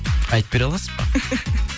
айтып бере аласыз ба